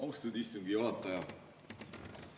Austatud istungi juhataja!